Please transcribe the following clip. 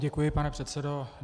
Děkuji, pane předsedo.